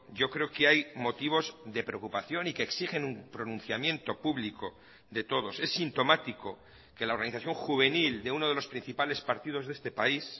yo creo que hay motivos de preocupación y que exigen un pronunciamiento público de todos es sintomático que la organización juvenil de uno de los principales partidos de este país